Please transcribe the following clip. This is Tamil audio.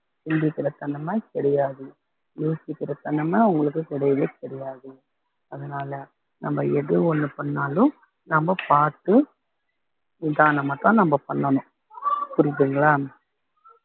சிந்திக்கற தன்னம கிடையாது யோசிக்கிற தன்னம அங்களுக்கு கிடையவே கிடையாது அதனால நம்ம எது ஒண்ணு பண்ணாலும் நம்ம பார்த்து நிதானமாத்தான் நம்ம பண்ணணும் புரியுதுங்களா